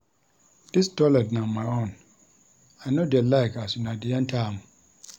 Dis toilet na my own, I no dey like as una dey enta am.